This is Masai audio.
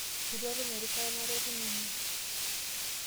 Etu atum erishata nalotunye inie .